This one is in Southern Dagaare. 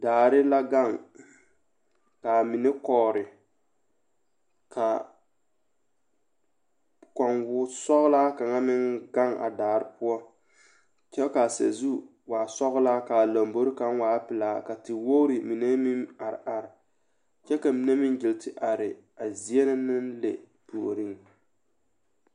Daare la kaŋ ka a mine kɔɔre ka kɔŋ wɔsɔglaa kaŋa meŋ gaŋ a daare poɔ kyɛ ka a sazu waa sɔglaa ka a lamboro waa peɛla ka tewogre mine meŋ are are kyɛ ka mine nyeŋle arɛ a zie na naŋ le puoriŋ.